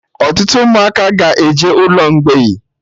Ọtụtụ Ụmụaka ka ga-eje ụlọ mgbei